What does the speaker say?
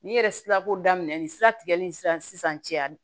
N'i yɛrɛ sira ko daminɛ ni sira tigɛli in sisan cɛ